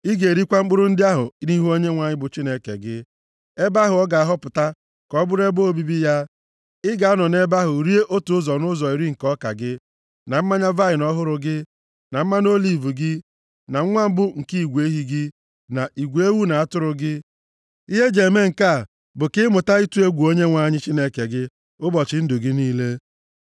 Ị ga-erikwa mkpụrụ ndị a nʼihu Onyenwe anyị, bụ Chineke gị, nʼebe ahụ ọ ga-ahọpụta ka ọ bụrụ ebe obibi ya, ị ga-anọ nʼebe ahụ rie otu ụzọ nʼụzọ iri nke ọka gị, na mmanya vaịnị ọhụrụ gị, na mmanụ oliv gị, na nwa mbụ nke igwe ehi gị, na igwe ewu na atụrụ gị. Ihe e ji eme nke a bụ ka ị mụta ịtụ egwu Onyenwe anyị Chineke gị ụbọchị ndụ gị niile.